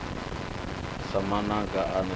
sa mamaga a ne a